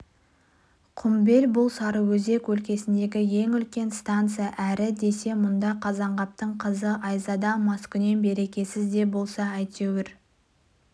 құмбел бұл сарыөзек өлкесіндегі ең үлкен станция әрі десе мұнда қазанғаптың қызы айзада маскүнем берекесіз де болса әйтеуір